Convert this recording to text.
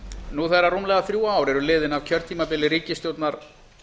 nú þegar rúmlega þrjú ár eru liðin af kjörtímabili ríkisstjórnar